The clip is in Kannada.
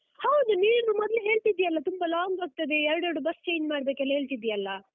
ಹೌದು ನೀನು ಮೊನ್ನೆ ಹೇಳ್ತಿದ್ದೀಯಲ್ಲ ತುಂಬ long ಆಗ್ತದೆ, ಎರಡೆರಡು ಬಸ್ change ಮಾಡ್ಬೇಕೆಲ್ಲ ಹೇಳ್ತಿದ್ದೀಯಲ್ಲ?